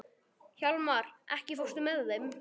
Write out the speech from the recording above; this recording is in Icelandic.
Hjálmar, ekki fórstu með þeim?